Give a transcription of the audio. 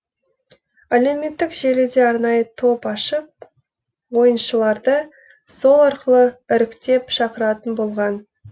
әлеуметтік желіде арнайы топ ашып ойыншыларды сол арқылы іріктеп шақыратын болған